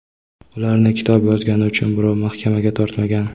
Ularni kitob yozgani uchun birov mahkamaga tortmagan!.